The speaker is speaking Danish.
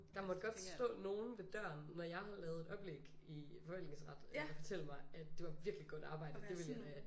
Det måtte godt stå nogen ved døren når jeg lavede et oplæg i forvaltningsret og fortælle mig at det var virkelig god arbejde og det ville jeg da